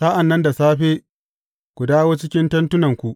Sa’an nan da safe, ku dawo cikin tentunanku.